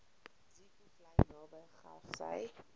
zeekoevlei naby grassy